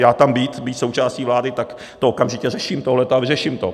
Já tam být, být součástí vlády, tak to okamžitě řeším, tohle, a vyřeším to.